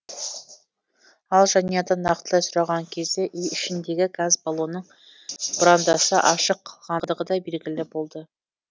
ал жанұядан нақтылай сұраған кезде үй ішіндегі газ балонның бұрандасы ашық қалғандығыдай белгілі болды